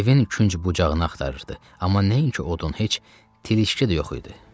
Evin künc-bucağını axtarırdı, amma nəinki odun, heç tilişki də yox idi.